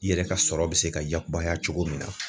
I yɛrɛ ka sɔrɔ bi se ka yakubaya cogo min na